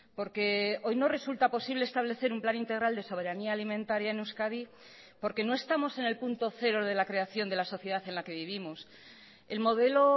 porque hoy no resulta posible establecer un plan integral de soberanía alimentaria en euskadi porque no estamos en el punto cero de la creación de la sociedad en la que vivimos el modelo